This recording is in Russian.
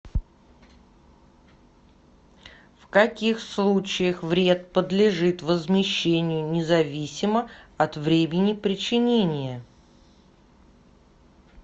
в каких случаях вред подлежит возмещению независимо от времени причинения